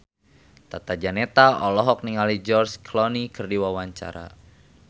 Tata Janeta olohok ningali George Clooney keur diwawancara